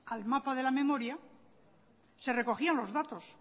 al mapa de la memoria se recogían los datos